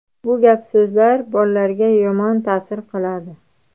Bu gap-so‘zlar bolalarga yomon ta’sir qiladi.